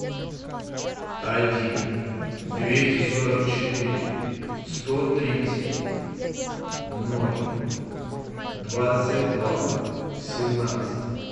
один двести сорок четыре сто тридцать ноль двадцать два семнадцать